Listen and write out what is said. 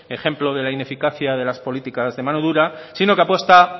ejemplo de la ineficacia de las políticas de mano dura sino que apuesta